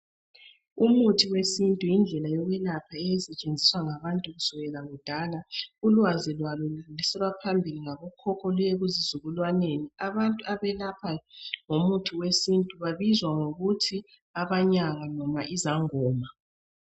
Umuthi wesintu yindlela yokulapha eyayisetshenziswa ngabantu kusukela kudala. Ulwazi lwalo ludluliselwa phambili ngabokhokho luye kuzizukulwaneni. Abantu abelapha ngomuthi wesintu babizwa ngokuthi abanyanga loba izangoma.